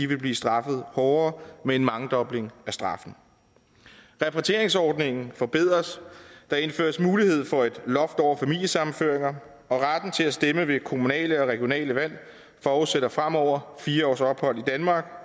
vil blive straffet hårdere med en mangedobling af straffen repatrieringsordningen forbedres der indføres en mulighed for et loft over familiesammenføringer og retten til at stemme ved kommunale og regionale valg forudsætter fremover fire års ophold i danmark